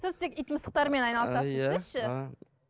сіз тек ит мысықтармен айналысасыз